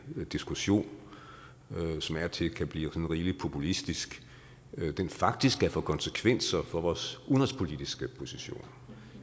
diskussion som af og til kan blive sådan rigelig populistisk faktisk kan få konsekvenser for vores udenrigspolitiske position